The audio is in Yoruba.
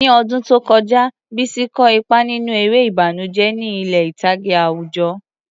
Ní ọdún tó kọjá, Bisi kó ipa nínú eré ìbànújẹ́ ní ilé ìtàgé àwùjọ.